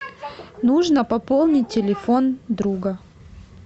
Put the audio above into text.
нужно пополнить телефон друга